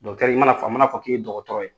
i mana fɔ a mana fɔ k'i ye dɔgɔtɔrɔ ye